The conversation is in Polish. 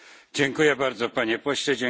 Dziękuję bardzo Panie Pośle.